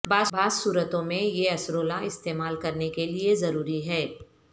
بعض صورتوں میں یہ اسرولہ استعمال کرنے کے لئے ضروری ہے